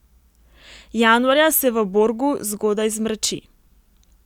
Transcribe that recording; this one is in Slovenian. Januarja se v Borgu zgodaj zmrači.